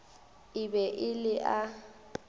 e be e le a